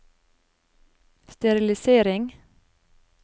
sterilisering